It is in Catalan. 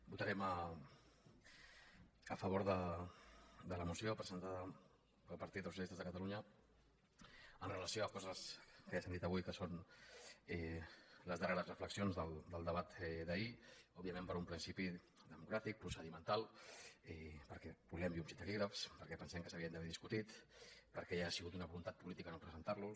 votarem a favor de la moció presentada pel partit dels socialistes de catalunya amb relació a coses que ja s’han dit avui que són les darreres reflexions del debat d’ahir òbviament per un principi democràtic procedimental i perquè volem llums i taquígrafs perquè pensem que s’haurien d’haver discutit perquè ha sigut una voluntat política no presentar los